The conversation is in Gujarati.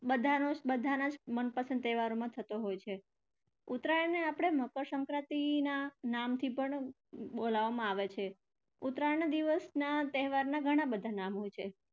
બધાનો બધાના મનપસંદ તહેવારમાં થતો હોય છે. ઉત્તરાયણને આપણે મકરસંક્રાંતિના નામથી પણ બોલાવવામાં આવે છે. ઉત્તરાયણના દિવસના તહેવારના ઘણા બધા નામ હોય છે.